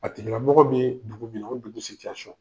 A tigila mɔgɔ bɛ dugu min na o dugu ?